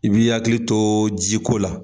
I b'i hakili to jiko la